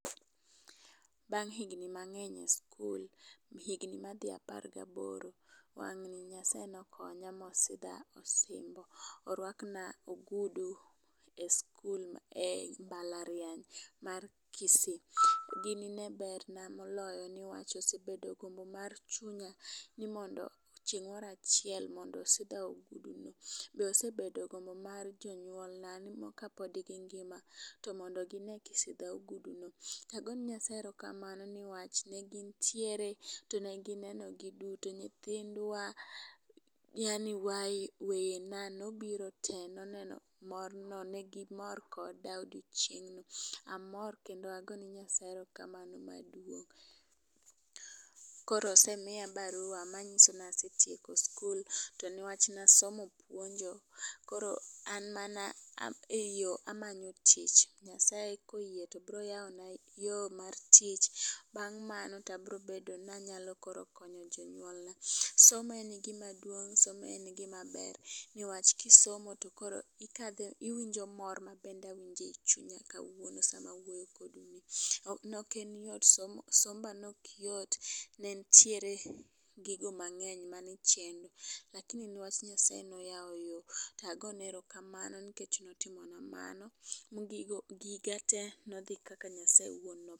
Bang' higni mang'eny e skul ,higni madhi apor gaboro wang' ni Nyasaye nokonya mosidha osimbo. Orwakna ogudu e skul e mbalariany mar Kisii. Gini ne berna moloyo newach osebedo gombo mar chunya ni mondo chieng moro achiel mondo osidhna ogudu .Osebedo gombo mar jonyuol na ni kapod gingima to mondo gine kisidha ogudu no .Tago ne Nyasaye erokamano newach ne gintiere to negineno giduto nyithindwa yaani i waya yaani weyena nobiro te noneno mor no ne gimor koda odiochieng'no . Amor kendo agone Nyasaye erokamano maduong' Koro osemiya barua manyiso ni asetieko sikul newach nasomo puonjo koro an mana e yoo amanyo tich Nyasaye koyie to bro yawo na yoo mar tich. Bang' manyo tabro bedo nanyalo koro konyo jonyuolna. Somo en gima duong somo en gima ber newach kisomo to ikadhe iwinje mor mabende awinje chunya kawuono sama wuoyo kodu ni. Noken yot somba nok yot nentiere gigo mang'eny mane chendo lakini newach nyasaye noyawo yoo .Tagone erokamano nikech notimo na mano ne gigo gika te nodhi kaka nyasaye owuon nopango.